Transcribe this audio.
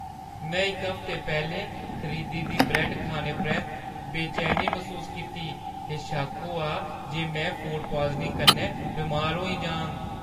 में इक हफ्ता पैह्‌लें खरीदी दी ब्रैड्ड खाने परैंत्त बेचैनी मसूस कीती ते शक्क होआ जे में फूड पॉइज़निंग कन्नै बमार होई जाङ।